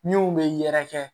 Min bɛ yɛrɛkɛ